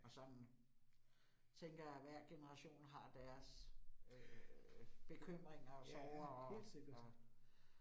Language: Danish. Og sådan tænker jeg, at hver genereation har deres øh bekymringer og sorger og og